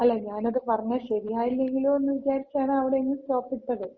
അല്ല. ഞാനത് പറഞ്ഞ ശരിയായില്ലങ്കിലോ എന്ന് വിചാരിച്ചാണ് അവിടങ്ങ് സ്റ്റോപ്പിട്ടത്.